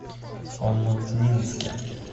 омутнинске